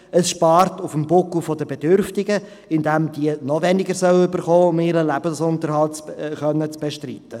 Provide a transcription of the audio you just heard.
Es spart auf dem Buckel der Bedürftigen, indem diese noch weniger erhalten sollen, um ihren Lebensunterhalt zu bestreiten.